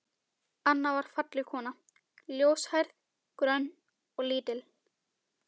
Anna var falleg kona, ljóshærð, grönn og lítil.